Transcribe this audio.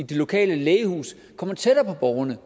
de lokale lægehuse kommer tættere på borgerne